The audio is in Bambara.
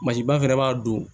ba fɛnɛ b'a don